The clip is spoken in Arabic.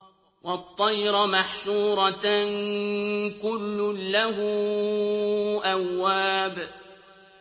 وَالطَّيْرَ مَحْشُورَةً ۖ كُلٌّ لَّهُ أَوَّابٌ